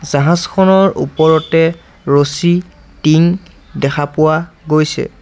জাহাজখনৰ ওপৰতে ৰছী টিং দেখা পোৱা গৈছে।